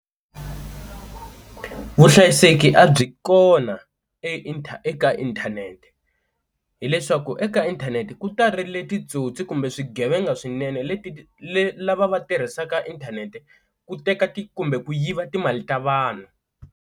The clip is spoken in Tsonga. Vuhlayiseki a byi kona e eka inthanete hileswaku eka inthanete ku tarile titsotsi kumbe swigevenga swinene leti le lava va tirhisaka inthanete ku teka ti kumbe ku yiva timali ta vanhu.